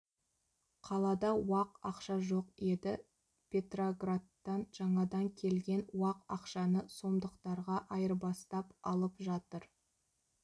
қалада уақ ақша жоқ еді петроградтан жаңадан келген уақ ақшаны сомдықтарға айырбастап алып жатыр